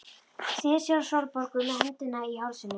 Sneri sér að Sólborgu með öndina í hálsinum.